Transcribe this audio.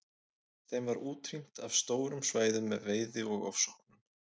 Þeim var útrýmt af stórum svæðum með veiði og ofsóknum.